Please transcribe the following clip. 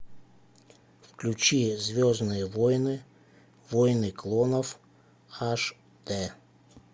включи звездные войны войны клонов аш д